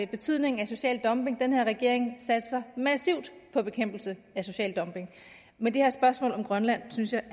betydningen af social dumping den her regering satser massivt på bekæmpelse af social dumping men det her spørgsmål om grønland synes jeg